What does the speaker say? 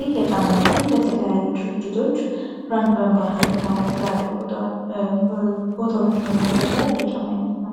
ይህ የጫማ አይነትን በተለያዩ ድርጅቶች ብራንድ በመባል የሚታወቅ ቦታዎችን የሚገዛ እየጫማ አይነት ነው።